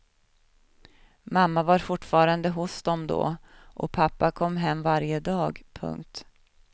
Mamma var fortfarande hos dem då och pappa kom hem varje dag. punkt